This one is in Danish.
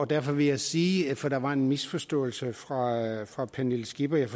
derfor vil jeg sige for der var en misforståelse fra pernille skippers